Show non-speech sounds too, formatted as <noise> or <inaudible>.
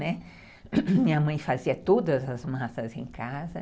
Né, <coughs> minha mãe fazia todas as massas em casa.